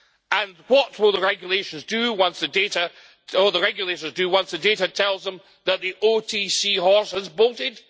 And what will the regulators do once the data tells them that the OTC horse has bolted?